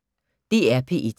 DR P1